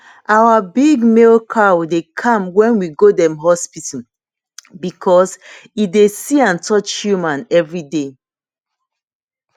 our big male cow dey calm wen we go dem hospital because e dey see and touch human every day